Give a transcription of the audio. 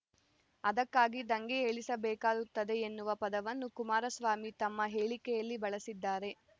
ಅದಕ್ಕಾಗಿ ದಂಗೆ ಏಳಿಸಬೇಕಾಗುತ್ತದೆ ಎನ್ನುವ ಪದವನ್ನು ಕುಮಾರಸ್ವಾಮಿ ತಮ್ಮ ಹೇಳಿಕೆಯಲ್ಲಿ ಬಳಸಿದ್ದಾರೆ